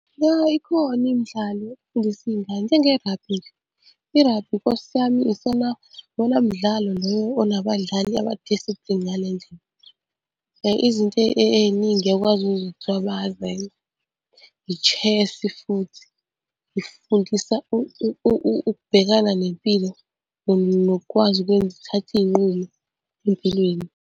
Ya ikhona imidlalo efundisa iy'ngane, njenge-rugby nje. I-rugby Nkosi yami, isona iwona mdlalo loyo onabadlali ama-disciplined ngale ndlela, Izinto ey'ningi uyakwazi ukuzwa kuthiwa bayazenza. I-chess futhi ifundisa ukubhekana nempilo nokwazi ukwenza uthathe iy'nqumo empilweni.